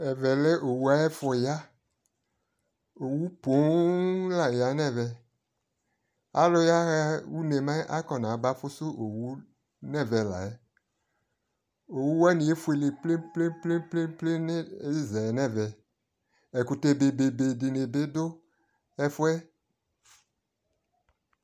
ɛvɛ lɛ owu ayi efo ya owu poo la ya no ɛvɛ, alo yaha no une mɛ akɔna ba fusu owu la no ɛvɛ owu wani efuele plen plen plen no ezaɛ no ɛvɛ, ɛkotɛ bebe di ni bi do ɛfuɛ